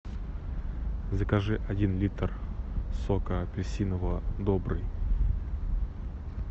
закажи один литр сока апельсинового добрый